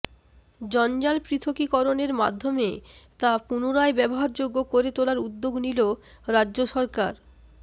জঞ্জাল পৃথকীকরণের মাধ্যমে তা পুনরায় ব্যবহারযোগ্য করে তোলার উদ্যোগ নিল রাজ্য সরকার